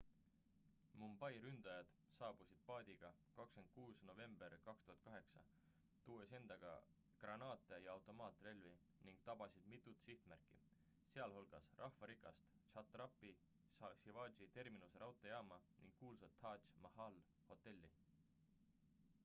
mumbai ründajad saabusid paadiga 26 novembril 2008 tuues endaga granaate ja automaatrelvi ning tabasid mitut sihtmärki sealhulgas rahvarikast chhatrapati shivaji terminuse raudteejaama ning kuulsat taj mahali hotelli